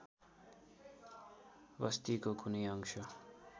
बस्तीको कुनै अंश